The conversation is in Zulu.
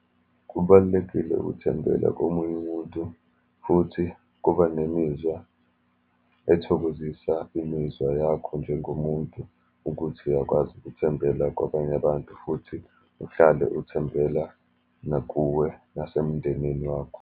Kubalulekile ukuthembela komunye umuntu, futhi kuba nemizwa ethokozisa imizwa yakho, njengomuntu ukuthi uyakwazi ukuthembela kwabanye abantu, futhi uhlale uthembela nakuwe nasemndenini wakho.